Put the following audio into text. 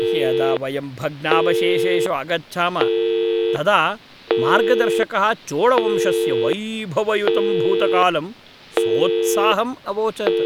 यदा वयं भग्नावशेषेषु अगच्छाम तदा मार्गदर्शकः चोळवंशस्य वैभवयुतं भूतकालं सोत्साहम् अवोचत्।